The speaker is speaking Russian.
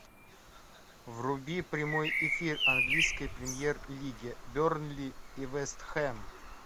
вруби прямой эфир английской премьер лиги бернли и вест хэм